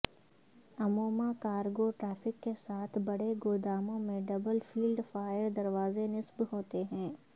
عموما cargo traffic کے ساتھ بڑے گوداموں میں ڈبل فیلڈ فائر دروازے نصب ہوتے ہیں